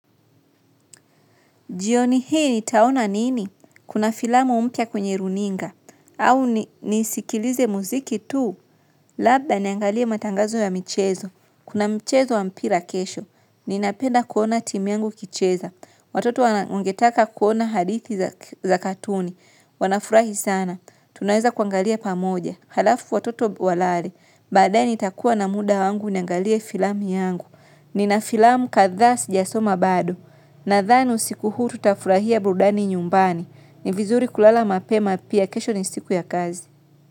Jioni hii nitaona nini? Kuna filamu mpia kwenye runinga? Au nisikilize muziki tu? Labda niangalie matangazo ya michezo. Kuna michezo wa mpira kesho. Ninapenda kuona timu yangu ikicheza. Watoto wangetaka kuona hadithi za katuni. Wanafurahi sana. Tunaweza kuangalia pamoja. Halafu watoto walale. Baadaye nitakua na muda wangu niangalie filamu yangu. Nina filamu kathaa sijasoma bado. Nadhani siku huu tutafurahia burudani nyumbani ni vizuri kulala mapema pia kesho ni siku ya kazi.